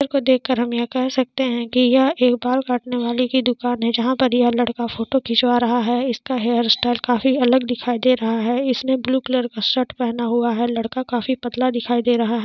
चित्र को देख कर हम यह कह सकते है की यह एक बाल काटने वाली की दुकान है जहाँ ये लड़का फोटो खिचवा रहा है इस का हेयर स्टाइल काफी अलग दिखाई दे रहा है इस ने ब्लू कलर का शर्ट पहना है लड़का काफी पतला दिखाई दे रहा है।